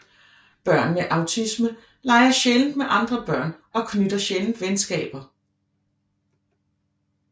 Børn med autisme leger sjældent med andre børn og knytter sjældent venskaber